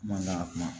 Mangan